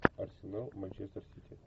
арсенал манчестер сити